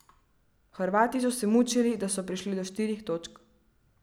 Hrvati so se mučili, da so prišli do štirih točk.